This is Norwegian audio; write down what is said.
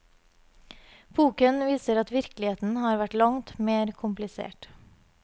Boken viser at virkeligheten har vært langt mer komplisert.